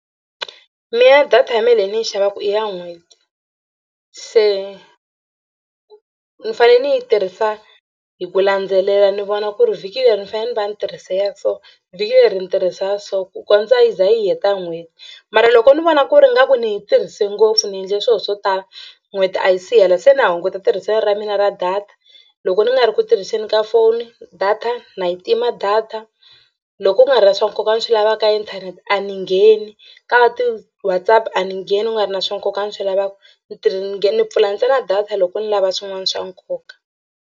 Mina ya data ya mina leyi ni yi xavaka i ya n'hweti se ni fanele ni yi tirhisa hi ku landzelela ni vona ku ri vhiki leri ni fanele ni va ni tirhise ya so vhiki leri ni tirhisa so ku kondza hi ze hi yi heta n'hweti mara loko ni vona ku ri ingaku ni yi tirhise ngopfu ni endle swilo swo tala n'hweti a yi si hela se na hunguta tirhiseni ra mina ra data. Loko ni nga ri ku tirhiseni ka foni data na yi tima data. Loko ku nga ri na swa nkoka ni swi lavaka ka inthanete a ni ngheni ka ti-Whatsapp a ni ngheni ku nga ri na swa nkoka a ni swi lavaka ni tirhi ni ni pfula ntsena data loko ni lava swin'wana swa nkoka.